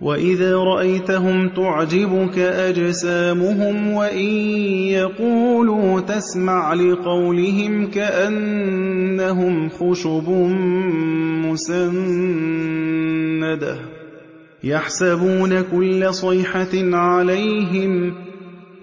۞ وَإِذَا رَأَيْتَهُمْ تُعْجِبُكَ أَجْسَامُهُمْ ۖ وَإِن يَقُولُوا تَسْمَعْ لِقَوْلِهِمْ ۖ كَأَنَّهُمْ خُشُبٌ مُّسَنَّدَةٌ ۖ يَحْسَبُونَ كُلَّ صَيْحَةٍ عَلَيْهِمْ ۚ